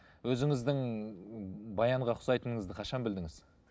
өзіңіздің баянға ұқсайтыныңызды қашан білдіңіз